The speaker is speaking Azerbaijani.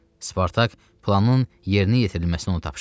Spartak planın yerinə yetirilməsini ona tapşırdı.